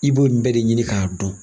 I b'o ɲ nin bɛɛ de ɲini k'a don.